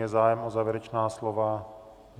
Je zájem o závěrečná slova?